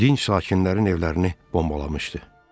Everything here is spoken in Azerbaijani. dinc sakinlərin evlərini bombalamışdı.